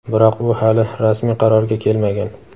biroq u hali rasmiy qarorga kelmagan.